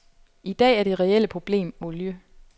I dag er det reelle problem olie.